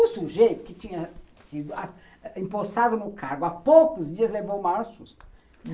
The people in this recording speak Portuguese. O sujeito que tinha sido impossado no cargo há poucos dias levou o maior susto.